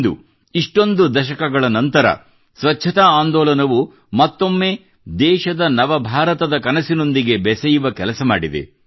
ಇಂದು ಇಷ್ಟೊಂದು ದಶಕಗಳ ನಂತರ ಸ್ವಚ್ಛತಾ ಆಂದೋಲನವು ಮತ್ತೊಮ್ಮೆ ದೇಶದ ನವ ಭಾರತದ ಕನಸಿನೊಂದಿಗೆ ಬೆಸೆಯುವ ಕೆಲಸ ಮಾಡಿದೆ